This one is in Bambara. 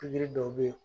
Pikiri dɔw bɛ ye